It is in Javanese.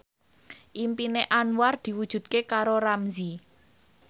impine Anwar diwujudke karo Ramzy